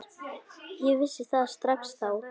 Ég vissi það strax þá.